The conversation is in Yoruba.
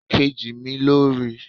Èkejì mi lo rí